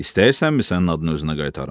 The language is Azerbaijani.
İstəyirsənmi sənin adını özünə qaytarım?